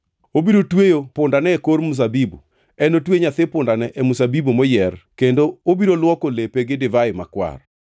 Obiro tweyo pundane e kor mzabibu, enotue nyathi pundane e mzabibu moyier; kendo obiro luoko lepe gi divai makwar.